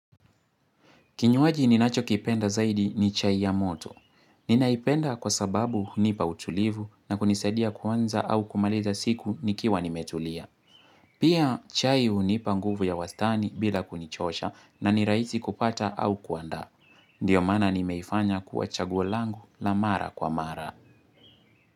Kinywaji ninacho kipenda zaidi ni chai ya moto. Ninaipenda kwa sababu hunipa utulivu na kunisadia kuanza au kumaliza siku nikiwa nimetulia. Pia chai hunipa nguvu ya wastani bila kunichosha na nirahisi kupata au kuandaa. Ndiyo maana nimeifanya kuwa chaguo langu la mara kwa mara.